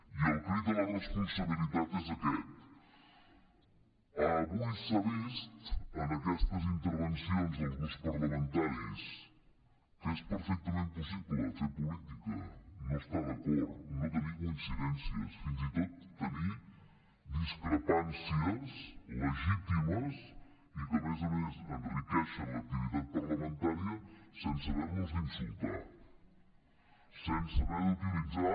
i el crit a la responsabilitat és aquest avui s’ha vist en aquestes intervencions dels grups parlamentaris que és perfectament possible fer política no estar d’acord no tenir coincidències fins i tot tenir discrepàncies legítimes i que a més a més enriqueixen l’activitat parlamentària sense haver nos d’insultar sense haver d’utilitzar